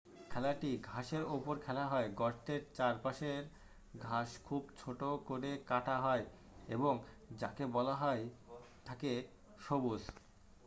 খেলাটি ঘাসের ওপর খেলা হয় গর্তের চারপাশের ঘাস খুব ছোট করে কাটা হয় এবং যাকে বলা হয়ে থাকে সবুজ